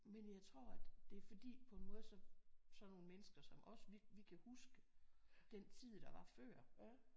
Men jeg tror at det er fordi på en måde så sådan nogle mennesker som os vi kan huske den tid der var før